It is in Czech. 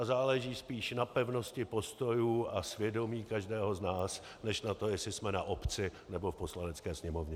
A záleží spíš na pevnosti postojů a svědomí každého z nás než na tom, jestli jsme na obci, nebo v Poslanecké sněmovně.